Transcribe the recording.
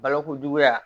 Balokojuguya